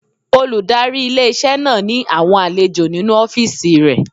Olùdarí ilé-iṣẹ́ náà ní àwọn àlejò nínu ọ́fìsì rẹ̀